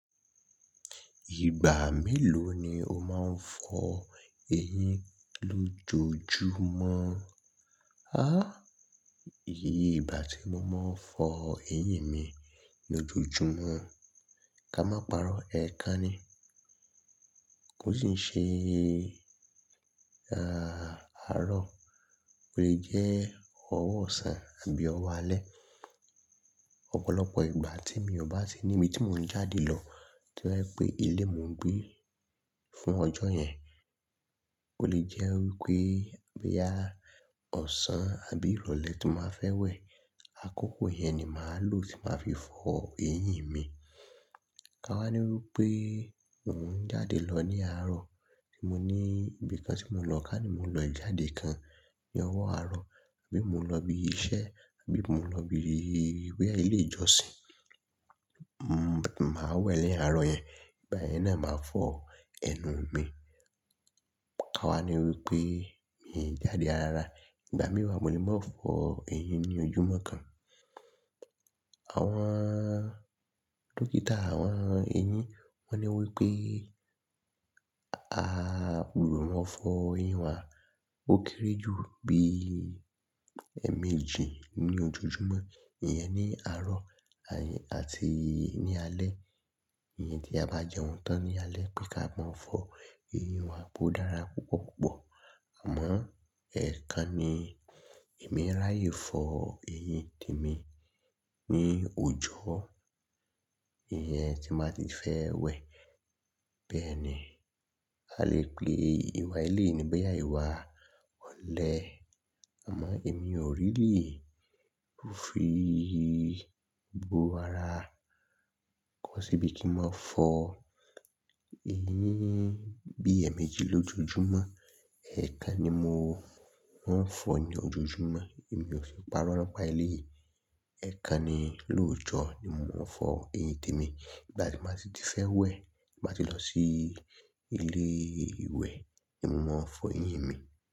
Ìgbà mélòó ni o máa ń fọ eyín lójoojúmọ́? Há! Iye ìgbà tí mo máa ń fọ eyín mi lójoojúmọ́ ká má parọ́, ẹ̀ẹ̀kan ni. Kó sì ń ṣe, ààrọ̀, o le jẹ́ ọwọ́ ọ̀sán àbí ọwọ́ alẹ́. Ọ̀pọ̀lọpọ̀ ìgbà tí mi ò bá sí níbi tí mò ń jáde lọ, to ye pé ilé mò ń gbé fún ọjọ́ yẹn, o le jẹ́ wípé bí ya ọ̀sán àbí ìrọ̀lẹ́ tí màá fẹ́ wẹ̀, àkókò yẹn ni màá lò tí màá fi fọ eyín mi. Ka wá ní wípé mò ń jáde lọ ní àárọ̀, tí mo ní ibìkan tí mò ń lọ ká ní mò ń lọ jáde kan ní ọwọ́ àárọ̀, àbí mò ń lọ ibi iṣẹ́, àbí mò ń lọ ibi ìwé ilé ìjọsìn, màá wẹ̀ ni àárọ̀ yẹn, ìgbà yẹn náà màá fọ ẹnu mi. Ka wá ní wípé mi jáde rara, ìgbà mìí wa mo lè máa fọ eyín ní ojojúmọ́ kan. Àwọn dókítà àwọn eyín wọ́n ní wípé a ò gbọdọ̀ máa fọ eyín wa o kéré jù bí ẹ̀ẹ̀méjì ní ojojúmọ́, ìyẹn ní àárọ̀ àti ní alẹ́. Ìyẹn tí a bá jẹun tán ní alẹ́ pé ká máa fọ eyín wa bó dára púpọ̀púpọ̀. Àmọ́ ẹ́ẹ̀kan ni èmi ráyè fọ eyín tèmi ní òjò, ìyẹn tí màá ti fẹ́ wẹ̀. Bẹ́ẹ̀ni, a lè pè ìwà eleyi ni boyè iwa olẹ̀. Àmọ́ èmi ò really fi bu ara kọ́ síbi kí n máa fọ eyín bí ẹ̀ẹ̀méjì lójoojúmọ́. Ẹ́ẹ̀kan ni mo máa ń fọ ní ojojúmọ́, èmi ò sì ń parọ́ nípa èleyi. Ẹ̀ẹ̀kan ni lóòjọ́ ni mò ń fọ eyín tèmi. Ìgbà tí màá si ti fẹ́ wẹ̀, tí màá ti lọ sí ilé ìwẹ̀ ni mo máa fọ eyín mi.